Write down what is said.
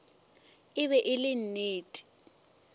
e be e le nnete